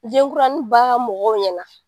Denkuranin ba mɔgɔw ɲɛna